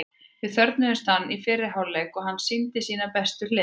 Við þörfnuðumst hans í fyrri hálfleik og hann sýndi sínar bestu hliðar.